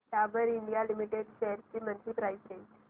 Dabur India limited shares ची monthly price range